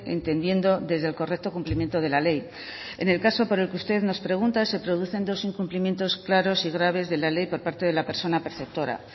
entendiendo desde el correcto cumplimiento de la ley en el caso por el que usted nos pregunta se producen dos incumplimientos claros y graves de la ley por parte de la persona perceptora